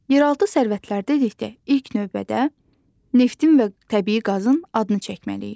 Yeraltı sərvət dedikdə ilk növbədə neftin və təbii qazın adını çəkməliyik.